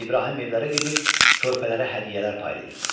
İbrahim evlərə gedib körpələrə hədiyyələr paylayırdı.